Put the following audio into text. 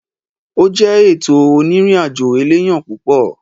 Ó jẹ́ ètò onírìn àjò elénìyàn púpọ̀.